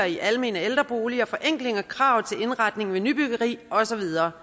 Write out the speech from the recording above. i almene ældreboliger forenkling af krav til indretning ved nybyggeri og så videre